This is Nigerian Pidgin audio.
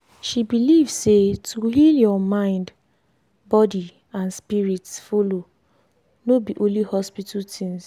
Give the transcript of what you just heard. she believe say to heal your mind body and spirit follow no be only hospital things.